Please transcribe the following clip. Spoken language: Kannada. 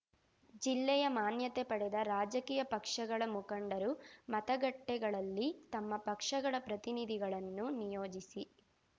ಜಿಲ್ಲೆಯ ಮಾನ್ಯತೆ ಪಡೆದ ರಾಜಕೀಯ ಪಕ್ಷಗಳ ಮುಖಂಡರು ಮತಗಟ್ಟೆಗಳಲ್ಲಿ ತಮ್ಮ ಪಕ್ಷಗಳ ಪ್ರತಿನಿಧಿಗಳನ್ನು ನಿಯೋಜಿಸಿ